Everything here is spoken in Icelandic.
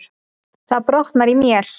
Það brotnaði í mél.